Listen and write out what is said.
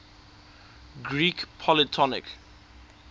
greek polytonic